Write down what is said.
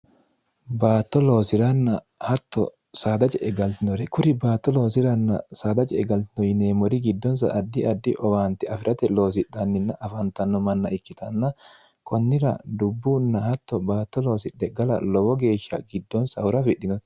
baatto loosiranna hatto saadaja egaltinore kuri baatto loosiranna saadaja egaltino yineemmori giddonsa addi addi owaanti afi'rate loosidhanninna afaantanno manna ikkitanna kunnira dubbunna hatto baatto loosidhe gala lowo geeshsha giddonsa hura fidhinore